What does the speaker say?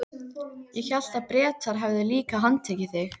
Ég hélt að Bretar hefðu líka handtekið þig?